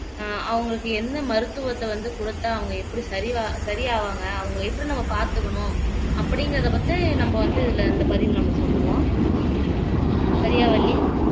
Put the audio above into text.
ஆஹ் அவங்களுக்கு என்ன மருத்துவத்தை வந்து கொடுத்தால் அவங்க எப்படி சரி வ சரி ஆவாங்க அவங்களை எப்படி நம்ம பார்த்துக்கணும் அப்படிங்கிறதை பத்தி நம்ம வந்து இதுல இந்த பதிவு நம்ம சொல்லுவோம் சரியா வள்ளி